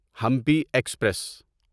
Hampi express